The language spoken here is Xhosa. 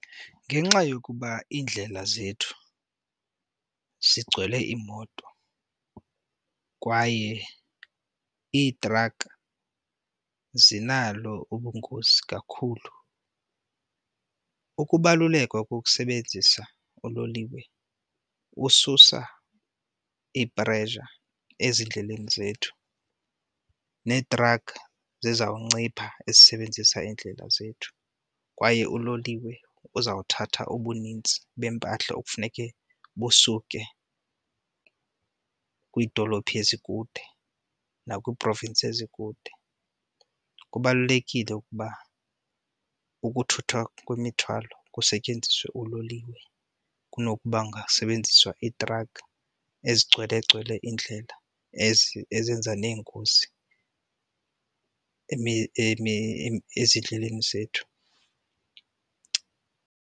Ngenxa yokuba iindlela zethu zigcwele iimoto kwaye iitraka zinalo ubungozi kakhulu, ukubaluleka kokusebenzisa uloliwe kususa i-pressure ezindleleni zethu neetrakha zizawuncipha ezisebenzisa iindlela zethu, kwaye uloliwe uzawuthatha ubunintsi bempahla okufuneke busuke kwiidolophu ezikude nakwii-province ezikude. Kubalulekile ukuba ukuthuthwa kwemithwalo kusetyenziswe uloliwe kunokuba kungasebenziswa iitrakha ezigcwelegcwele iindlela ezizenza neengozi ezindleleni zethu.